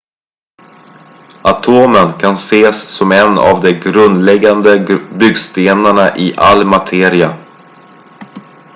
atomen kan ses som en av de grundläggande byggstenarna i all materia